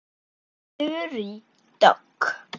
Þórey Dögg.